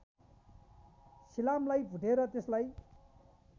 सिलामलाई भुटेर त्यसलाई